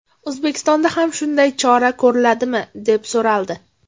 O‘zbekistonda ham shunday chora ko‘riladimi?”, deb so‘raldi.